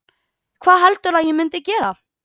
Hvað heldurðu að ég myndi gera?